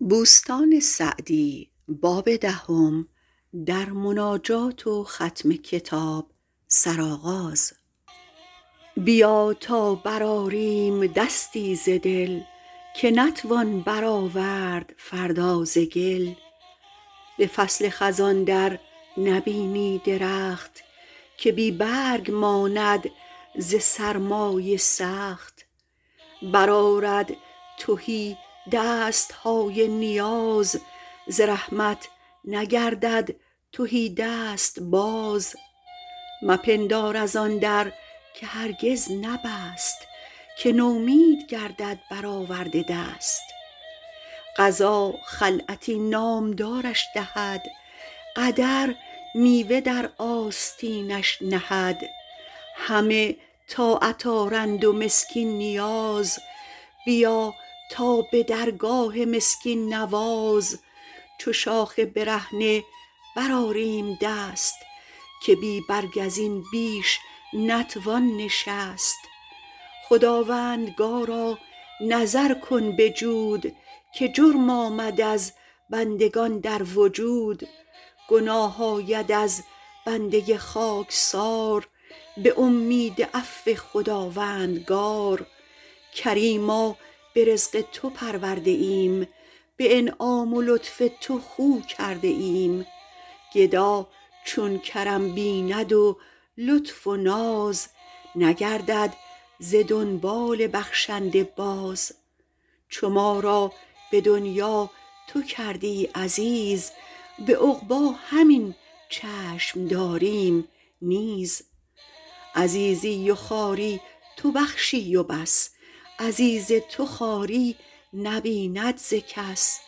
بیا تا برآریم دستی ز دل که نتوان برآورد فردا ز گل به فصل خزان در نبینی درخت که بی برگ ماند ز سرمای سخت برآرد تهی دست های نیاز ز رحمت نگردد تهی دست باز مپندار از آن در که هرگز نبست که نومید گردد بر آورده دست قضا خلعتی نامدارش دهد قدر میوه در آستینش نهد همه طاعت آرند و مسکین نیاز بیا تا به درگاه مسکین نواز چو شاخ برهنه برآریم دست که بی برگ از این بیش نتوان نشست خداوندگارا نظر کن به جود که جرم آمد از بندگان در وجود گناه آید از بنده خاکسار به امید عفو خداوندگار کریما به رزق تو پرورده ایم به انعام و لطف تو خو کرده ایم گدا چون کرم بیند و لطف و ناز نگردد ز دنبال بخشنده باز چو ما را به دنیا تو کردی عزیز به عقبی همین چشم داریم نیز عزیزی و خواری تو بخشی و بس عزیز تو خواری نبیند ز کس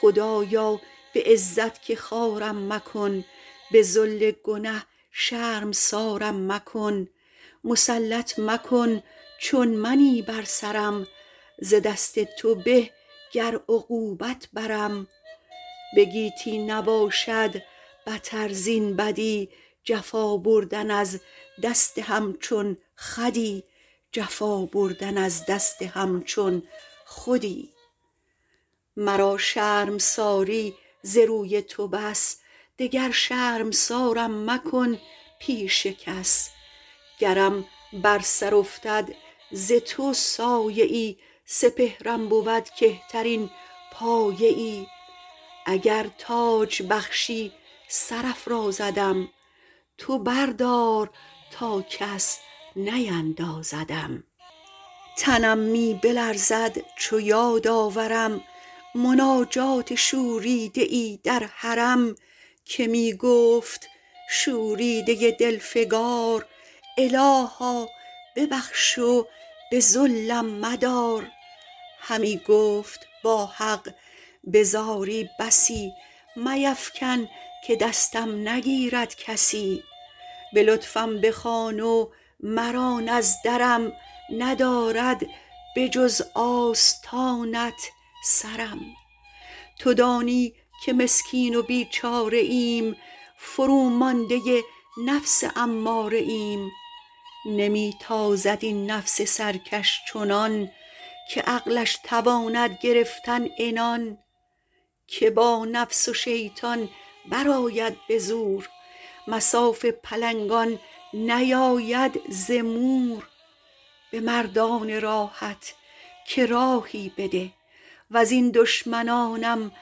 خدایا به عزت که خوارم مکن به ذل گنه شرمسارم مکن مسلط مکن چون منی بر سرم ز دست تو به گر عقوبت برم به گیتی بتر زین نباشد بدی جفا بردن از دست همچون خودی مرا شرمساری ز روی تو بس دگر شرمسارم مکن پیش کس گرم بر سر افتد ز تو سایه ای سپهرم بود کهترین پایه ای اگر تاج بخشی سر افرازدم تو بردار تا کس نیندازدم تنم می بلرزد چو یاد آورم مناجات شوریده ای در حرم که می گفت شوریده دل فگار الها ببخش و به ذلم مدار همی گفت با حق به زاری بسی میفکن که دستم نگیرد کسی به لطفم بخوان و مران از درم ندارد به جز آستانت سرم تو دانی که مسکین و بیچاره ایم فرومانده نفس اماره ایم نمی تازد این نفس سرکش چنان که عقلش تواند گرفتن عنان که با نفس و شیطان برآید به زور مصاف پلنگان نیاید ز مور به مردان راهت که راهی بده وز این دشمنانم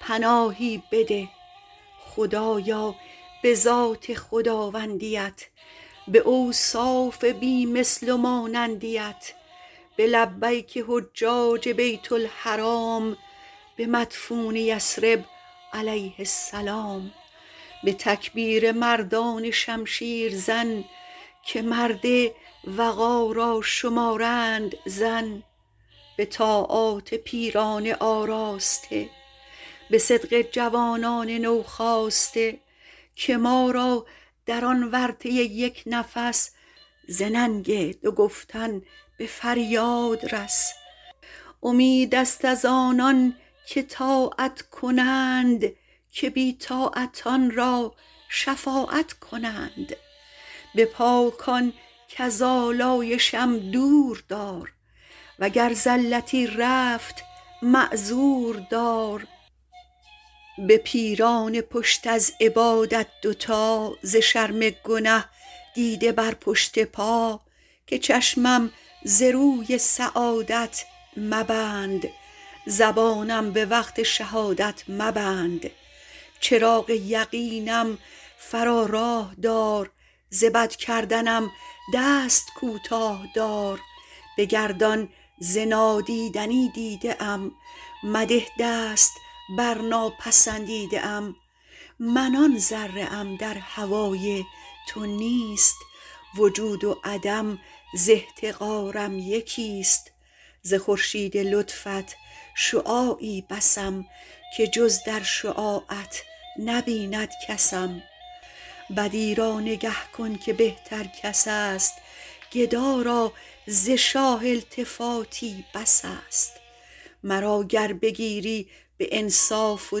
پناهی بده خدایا به ذات خداوندیت به اوصاف بی مثل و مانندیت به لبیک حجاج بیت الحرام به مدفون یثرب علیه السلام به تکبیر مردان شمشیر زن که مرد وغا را شمارند زن به طاعات پیران آراسته به صدق جوانان نوخاسته که ما را در آن ورطه یک نفس ز ننگ دو گفتن به فریاد رس امید است از آنان که طاعت کنند که بی طاعتان را شفاعت کنند به پاکان کز آلایشم دور دار وگر زلتی رفت معذور دار به پیران پشت از عبادت دوتا ز شرم گنه دیده بر پشت پا که چشمم ز روی سعادت مبند زبانم به وقت شهادت مبند چراغ یقینم فرا راه دار ز بد کردنم دست کوتاه دار بگردان ز نادیدنی دیده ام مده دست بر ناپسندیده ام من آن ذره ام در هوای تو نیست وجود و عدم ز احتقارم یکی است ز خورشید لطفت شعاعی بسم که جز در شعاعت نبیند کسم بدی را نگه کن که بهتر کس است گدا را ز شاه التفاتی بس است مرا گر بگیری به انصاف و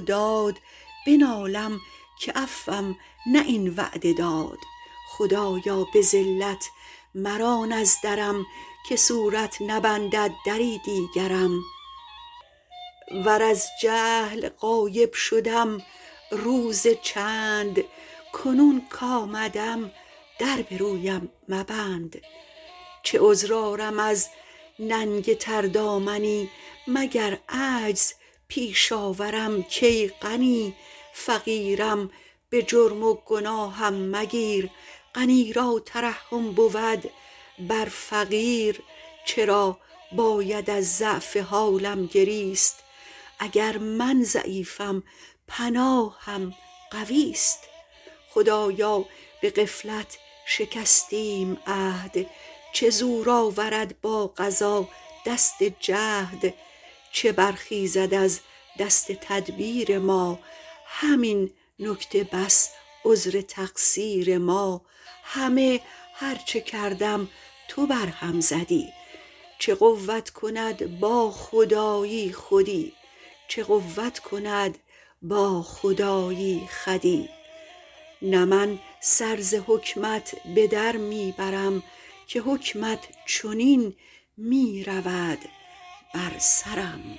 داد بنالم که عفوم نه این وعده داد خدایا به ذلت مران از درم که صورت نبندد دری دیگرم ور از جهل غایب شدم روز چند کنون کآمدم در به رویم مبند چه عذر آرم از ننگ تردامنی مگر عجز پیش آورم کای غنی فقیرم به جرم و گناهم مگیر غنی را ترحم بود بر فقیر چرا باید از ضعف حالم گریست اگر من ضعیفم پناهم قویست خدایا به غفلت شکستیم عهد چه زور آورد با قضا دست جهد چه برخیزد از دست تدبیر ما همین نکته بس عذر تقصیر ما همه هر چه کردم تو بر هم زدی چه قوت کند با خدایی خودی نه من سر ز حکمت به در می برم که حکمت چنین می رود بر سرم